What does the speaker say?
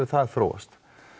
það þróast